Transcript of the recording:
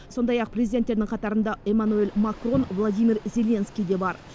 сондай ақ президенттердің қатарында эмманюэль макрон владимир зеленский де бар